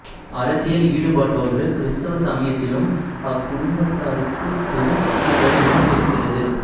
அரசியல் ஈடுபாட்டோடு கிறிஸ்தவ சமயத்திலும் அக்குடும்பத்தாருக்குப் பெரும் ஈடுபாடு இருந்திருக்கிறது